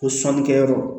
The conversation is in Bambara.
Ko sannikɛyɔrɔ